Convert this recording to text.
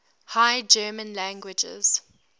high german languages